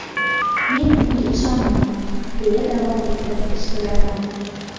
Men unga ishonganman”, deya davom ettirdi ishbilarmon.